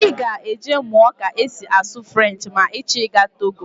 Ị ga-eje mụọ ka esi asụ Frenchị ma ị chọ ịga Togo